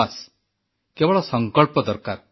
ବାସ୍ କେବଳ ସଂକଳ୍ପ ଦରକାର